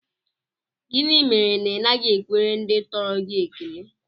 Gịnị mere na Ị naghị ekwere ndị tọrọ gị ekele?